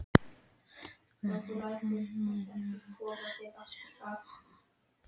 Guðrún Helgadóttir dillar sér á mynd eftir Sigmund í Mogganum.